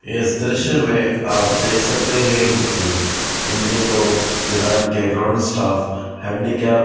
इस दृश्य में आप देख सकते हैं की इन्दिको वीरान के ग्राउंड स्टाफ हेडीकैप --